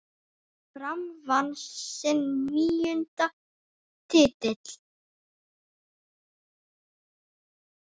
Fram vann sinn níunda titil.